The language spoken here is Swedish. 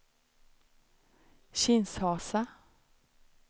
Kinshasa